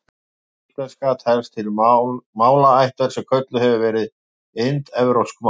Íslenska telst til málaættar sem kölluð hefur verið indóevrópsk mál.